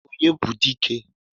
onye bu dike?